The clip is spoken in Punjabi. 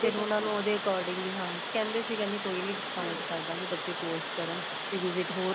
ਉਹਨਾ ਨੂੰ ਉਹਦੇ according ਈ ਹਾਂਜੀ ਕਹਿੰਦੇ ਸੀ ਕਹਿਨੇ ਕੋਈ ਨੀਂ count ਕਰਦਾਗੇ ਬੱਚੇ course ਕਰਨ ਤੁਸੀਂ visit ਹੋਰ